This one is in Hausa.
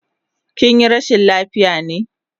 Kinyi rashin lafiya ne?